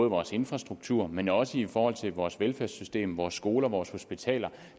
vores infrastruktur men også i forhold til vores velfærdssystem vores skoler vores hospitaler